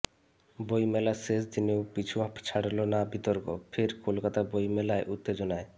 বইমেলার শেষ দিনেও পিছু ছাড়ল না বিতর্ক ফের কলকাতা বইমেলায় উত্তেজনায়